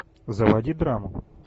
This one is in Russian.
заводи драму